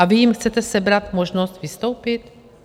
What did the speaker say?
A vy jim chcete sebrat možnost vystoupit?